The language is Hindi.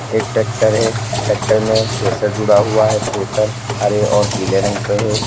एक ट्रैक्टर है ट्रैक्टर में थ्रेसर जुड़ा हुआ है थ्रेसर हरे और पीले रंग पे है।